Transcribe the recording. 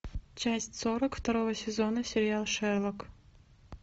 часть сорок второго сезона сериала шерлок